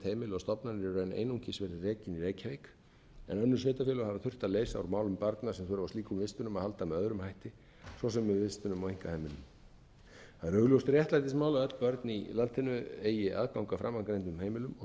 einungis verið rekin í reykjavík en önnur sveitarfélög hafa þurft að leysa úr málum barna sem þurfa á slíkum vistunum að halda með öðrum hætti svo sem með vistunum á einkaheimilum það er augljóst réttlætismál að öll börn í landinu eigi aðgang að framangreindum heimilum og